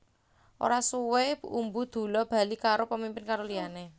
Ora suwé Umbu Dulla bali karo pemimpin loro liyané